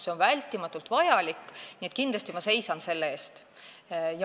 See on vältimatult vajalik, nii et ma kindlasti seisan selle eest.